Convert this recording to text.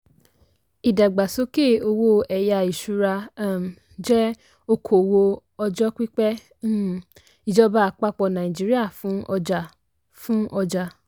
ìdàgbàsókè owó ẹ̀yá ìṣúra um jẹ́ okòwò ọjọ́ pípẹ́ um ìjọba àpapọ̀ nàìjíríà fún ọjà. fún ọjà.